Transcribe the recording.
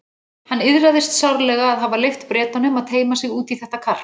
Hann iðraðist sárlega að hafa leyft Bretanum að teyma sig út í þetta karp.